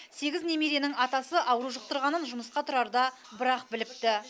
сегіз немеренің атасы ауру жұқтырғанын жұмысқа тұрарда бір ақ біліпті